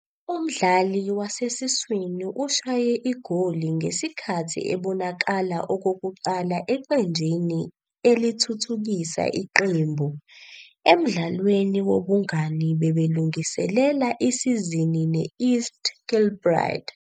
Umdlali wasesiswini ushaye igoli ngesikhathi ebonakala okokuqala eqenjini elithuthukisa iqembu, emdlalweni wobungani belungiselela isizini ne-East Kilbride.